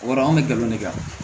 O b'a dɔn anw bɛ galon de kɛ